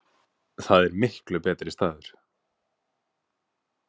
Það er miklu betri staður.